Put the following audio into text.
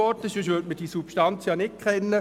Sonst würde man diese Substanz ja nicht kennen.